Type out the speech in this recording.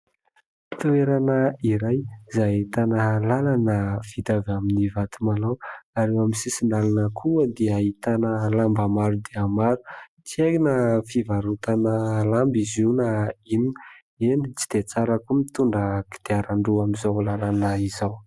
Toerana iray izay ahitana lalana vita avy amin'ny vato malao ary eo amin'ny sisin-dalana koa dia ahitana lamba maro dia maro. Tsy hay na fivarotana lamba izy io na inona. Eny, tsy dia tsara koa ny mitondra kodiaran-droa amin'izao lalana izao.